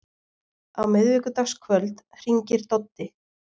Á miðvikudagskvöld hringir Doddi.